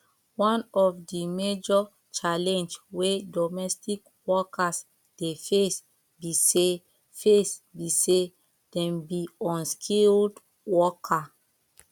one of di major challenge wey domestic workers dey face be sey face be sey dem be unskilled worker